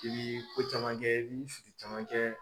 I bii ko caman kɛ i bi sigi caman kɛ